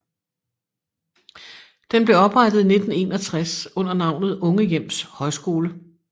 Den blev oprettet i 1961 under navnet Unge Hjems Højskole